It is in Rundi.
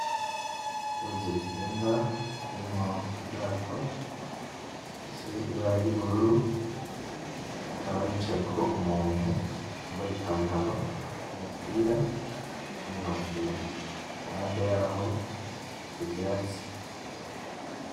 Uruzi rutemba, rurimwo ubwato bufise ibara ryubururu, hakaba hicayeko umuntu yambaye ipantaro, umupira, n'inkofero. Iruhande yaho har'ivyatsi.